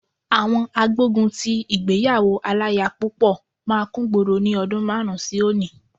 Àwọn agbógun ti ìgbéyàwó aláya púpọ̀ máa kúngboro ní ọdún márùn-ún sí òní.